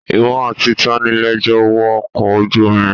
Ìwọ àti tani lẹ jọ wọ ọkọ̀ ojú omi?